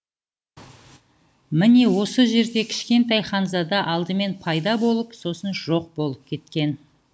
міне осы жерде кішкентай ханзада алдымен пайда болып сосын жоқ болып кеткен